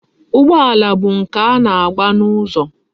Ụgbọala bụ nke a na-agba n'ụzọ.